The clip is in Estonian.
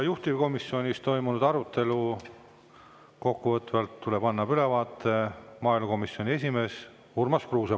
Juhtivkomisjonis toimunud arutelust tuleb annab kokkuvõtva ülevaate maaelukomisjoni esimees Urmas Kruuse.